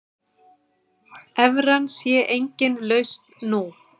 Evran sé engin lausn nú.